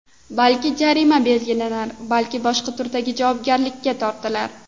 Balki, jarima belgilanar, balki boshqa turdagi javobgarlikka tortilar.